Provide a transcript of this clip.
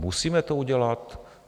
Musíme to udělat?